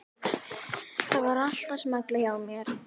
Það var allt að smella hjá mér.